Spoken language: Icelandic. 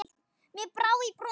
Mér brá í brún.